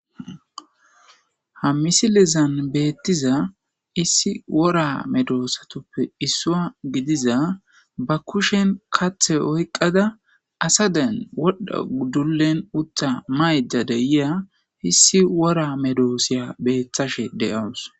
Ha missilezan betizza issi wora medossathuppe isswa giddaza ba kishshen kaththe oyqqada assadan wodha dullen uththa maydda de'yya issi wora medosiya bethishe de'awus.